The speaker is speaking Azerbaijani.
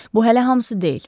Bu hələ hamısı deyil.